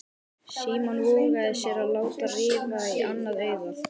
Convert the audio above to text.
Símon vogaði sér að láta rifa í annað augað.